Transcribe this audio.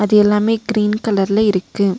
அது எல்லாமே கீரீன் கலர்ல இருக்கு.